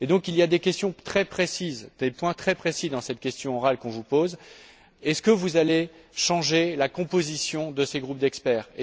Il y a donc des questions très précises, des points très précis dans cette question orale qu'on vous pose est ce que vous allez changer la composition de ces groupes d'experts?